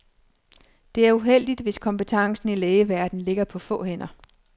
Det er uheldigt, hvis kompetencen i lægeverdenen ligger på få hænder.